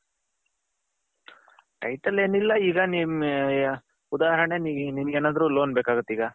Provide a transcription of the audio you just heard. title ಎನ್ ಎಲ್ಲ ಈಗ ನಿಮ್ಮ ಉದಾಹರಣೆ ನಿಮ್ಮಗೆನದ್ರು ಲೋನ್ ಬೇಕಾಗುತ್ತೆ ಈಗ.